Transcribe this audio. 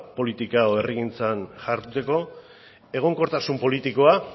politika edo herrigintzan jarduteko egonkortasun politikoa